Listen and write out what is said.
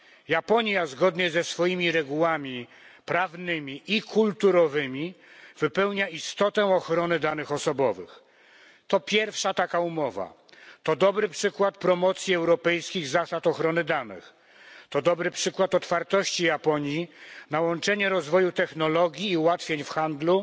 Japonia zgodnie ze swoimi regułami prawnymi i kulturowymi wypełnia istotę ochrony danych osobowych. To pierwsza taka umowa, to dobry przykład promocji europejskich zasad ochrony danych, to dobry przykład otwartości Japonii na łączenie rozwoju technologii i ułatwień w handlu